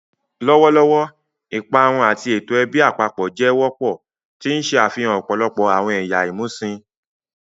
Lọwọlọwọ, iparun ati awọn eto ẹbi apapọ jẹ wọpọ, ti n ṣe afihan ọpọlọpọ awọn ẹya imusin.